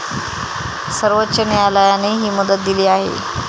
सर्वोच्च न्यायालयाने ही मुदत दिली आहे.